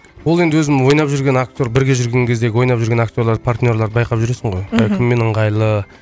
ол енді өзің ойнап жүрген актер бірге жүрген кездегі ойнап жүрген актерлар партнерларды байқап жүресің ғой мхм кіммен ыңғайлы